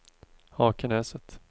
Hakenäset